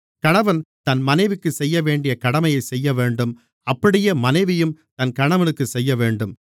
கணவன் தன் மனைவிக்குச் செய்யவேண்டிய கடமையைச் செய்யவேண்டும் அப்படியே மனைவியும் தன் கணவனுக்குச் செய்யவேண்டும்